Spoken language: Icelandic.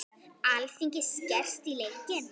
Alþingi skerst í leikinn